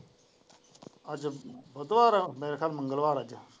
ਅੱਜ ਬੁੱਧਵਾਰ ਹੈ ਮੇਰੇ ਖ਼ਿਆਲ ਨਾਲ ਮੰਗਲਵਾਰ ਹੈ।